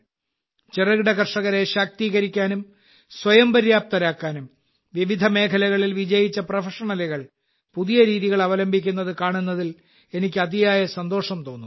ചെറുകിട കർഷകരെ ശാക്തീകരിക്കാനും സ്വയം പര്യാപ്തരാക്കാനും വിവിധ മേഖലകളിൽ വിജയിച്ച പ്രൊഫഷണലുകൾ പുതിയ രീതികൾ അവലംബിക്കുന്നത് കാണുന്നതിൽ എനിക്ക് അതിയായ സന്തോഷം തോന്നുന്നു